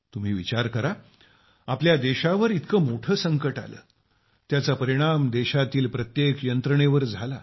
तुम्ही विचार करा आपल्या देशावर इतके मोठे संकट आले त्याचा परिणाम देशातील प्रत्येक यंत्रणेवर झाला